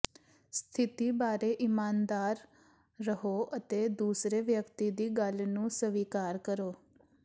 ਸਥਿਤੀ ਬਾਰੇ ਇਮਾਨਦਾਰ ਰਹੋ ਅਤੇ ਦੂਸਰੇ ਵਿਅਕਤੀ ਦੀ ਗੱਲ ਨੂੰ ਸਵੀਕਾਰ ਕਰੋ